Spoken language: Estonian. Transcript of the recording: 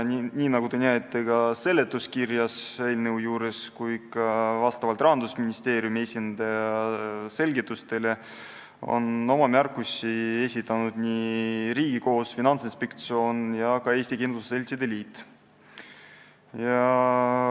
Nagu te näete seletuskirjast ning ka Rahandusministeeriumi esindaja selgitas nii, et oma märkusi on esitanud Riigikohus, Finantsinspektsioon ja Eesti Kindlustusseltside Liit.